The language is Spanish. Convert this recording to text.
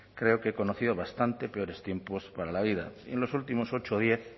creo que he conocido bastante peores tiempos para la vida y en los últimos ocho o diez